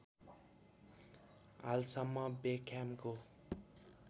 हालसम्म बेक्ह्यामको